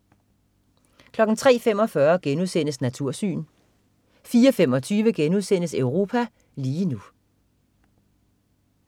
03.45 Natursyn* 04.25 Europa lige nu*